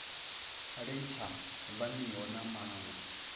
ḽi sa faniho na maṅwe